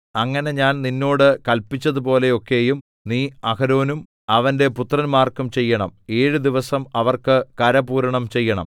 അങ്ങനെ ഞാൻ നിന്നോട് കല്പിച്ചതുപോലെ ഒക്കെയും നീ അഹരോനും അവന്റെ പുത്രന്മാർക്കും ചെയ്യണം ഏഴ് ദിവസം അവർക്ക് കരപൂരണം ചെയ്യണം